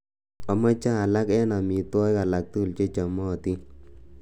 amoje alak en omitwogik alaktugul chechomotin